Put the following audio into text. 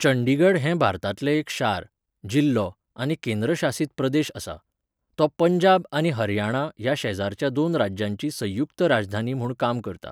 चंडीगढ हें भारतांतलें एक शार, जिल्लो आनी केंद्रशासीत प्रदेश आसा. तो पंजाब आनी हरियाणा ह्या शेजारच्या दोन राज्यांची संयुक्त राजधानी म्हूण काम करता.